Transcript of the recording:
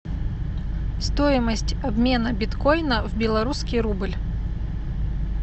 стоимость обмена биткоина в белорусский рубль